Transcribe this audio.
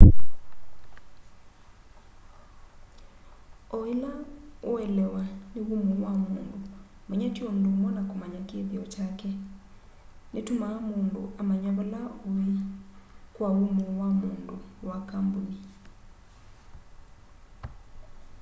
o ila uelewa ni umo wa mundu manya ti undu umwe na kumanya kithio kyake nitumaa mundu amanya vala ui kwa umo wa mundu wa kambuni